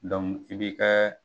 i b'i ka